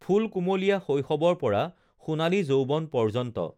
ফুলকুমলীয়া শৈশৱৰ পৰা সোণালী যৌৱন পৰ্যন্ত